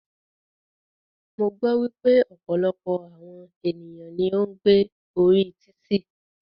Mo gbọ́ wípé ọ̀pọ̀lọpọ̀ àwọn ènìyàn ní o ń gbé orí títì.